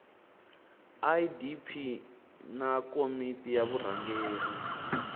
idp na komiti ya vurhangeri